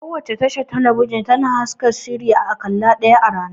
Kowace tashar talabijin tana haska shiri a ƙalla ɗaya a rana